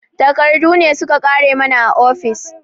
Takardu ne su ka ƙare mana a ofis